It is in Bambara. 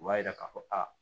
U b'a yira k'a fɔ aa